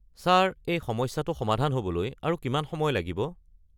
Sir এই সমস্যাটো সমাধান হ’বলৈ আৰু কিমান সময় লাগিব?